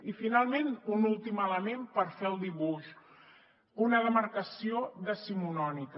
i finalment un últim element per fer el dibuix una demarcació decimonònica